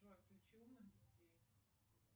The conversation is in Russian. джой включи умных детей